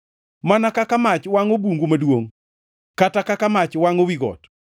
Mana kaka mach wangʼo bungu maduongʼ kata kaka mach wangʼo wi got,